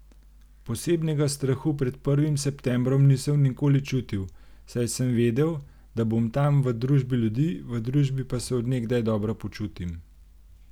Posebnega strahu pred prvim septembrom nisem nikoli čutil, saj sem vedel, da bom tam v družbi ljudi, v družbi pa se od nekdaj dobro počutim.